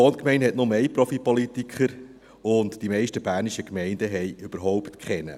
Meine Wohngemeinde hat nur einen Profipolitiker, aber die meisten bernischen Gemeinden haben überhaupt keinen.